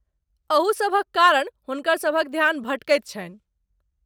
अहू सभक कारण हुनकर सभक ध्यान भटकैत छन्हि।